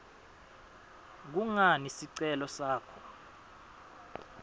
kungani sicelo sakho